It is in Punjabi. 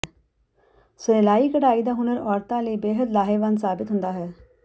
ਸਿਲਾਈ ਕਢਾਈ ਦਾ ਹੁਨਰ ਔਰਤਾਂ ਲਈ ਬੇਹੱਦ ਲਾਹੇਵੰਦ ਸਾਬਿਤ ਹੁੰਦਾ ਹੈ